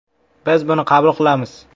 Biz buni qabul qilamiz.